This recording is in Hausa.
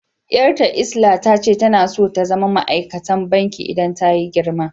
Yar'ta lsla tace tana so ta zama ma'aikatan banki idan tayi girma.